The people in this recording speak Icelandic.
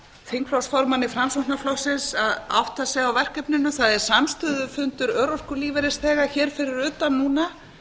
þingflokksformanni framsóknarflokksins að átta sig á verkefninu það er samstöðufundur örorkulífeyrisþega hér fyrir utan núna